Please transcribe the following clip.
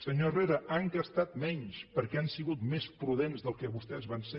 senyor herrera han gastat menys perquè han sigut més prudents del que vostès van ser